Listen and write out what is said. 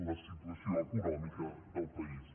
la situació econòmica del país